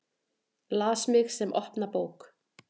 Las mig sem opna bók.